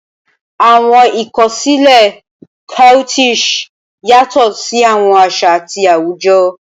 Awọn ikosile Coquettish yatọ si awọn aṣa ati awujọ.